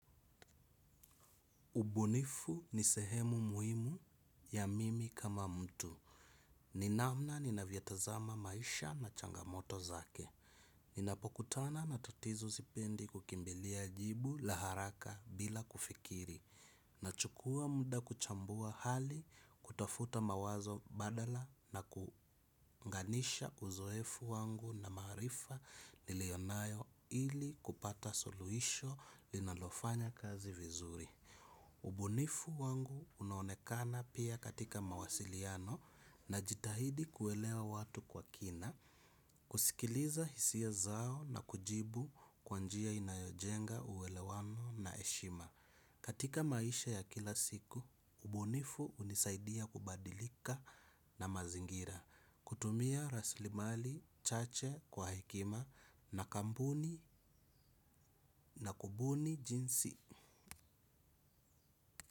Ubunifu ni sehemu muhimu ya mimi kama mtu. Ni namna ninavyotazama maisha na changamoto zake. Ninapokutana na tatizo sipendi kukimbilia jibu la haraka bila kufikiri. Nachukua muda kuchambua hali kutafuta mawazo badala na kuunganisha uzoefu wangu na maarifa niliyo nayo ili kupata suluhisho linalofanya kazi vizuri. Ubunifu wangu unaonekana pia katika mawasiliano najitahidi kuelewa watu kwa kina, kusikiliza hisia zao na kujibu kwa njia inayojenga uwelewano na heshima. Katika maisha ya kila siku, ubunifu hunisaidia kubadilika na mazingira, kutumia raslimali chache kwa hekima na kambuni na kubuni jinsi.